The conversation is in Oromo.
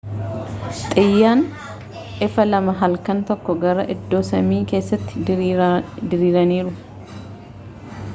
xiyyaan ifaa lama halkan tokkoon gara iddoo samii kessatti diriiraniiru